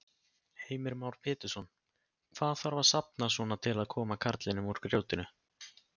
Heimir Már Pétursson: Hvað þarf að safna svona til að koma karlinum úr grjótinu?